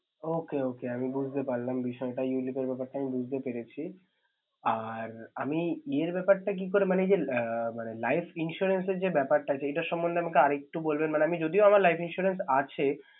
Okay~okay আমি বুঝতে পারলাম বিষয়টা Ulip এর ব্যাপারটা আমি বুঝতে পেরেছি। আর আমি ইয়ের ব্যাপারটা কি করে মানে যে আহ মানে life insurance এর যে ব্যাপারটা আছে, এইটার সম্বন্ধে আর একটু বলবেন। যদিও আমার life insurance আছে